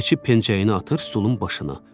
Keçib pencəyini atır stolun başına.